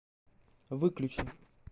выключи